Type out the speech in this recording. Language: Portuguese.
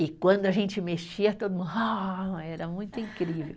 E quando a gente mexia, todo mundo, ó! Era muito incrível.